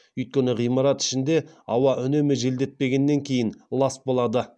өйткені ғимарат ішіндегі ауа үнемі желдетпегеннен кейін лас болады